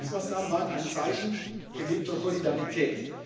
wirksam geholfen werden. Ja, diese Hilfsmaßnahmen waren ein Zeichen